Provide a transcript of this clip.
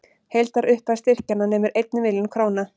Heildarupphæð styrkjanna nemur einni milljón króna